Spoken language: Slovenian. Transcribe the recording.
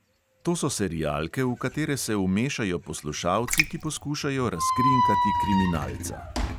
To so serialke, v katere se vmešajo poslušalci, ki poskušajo razkrinkati kriminalca.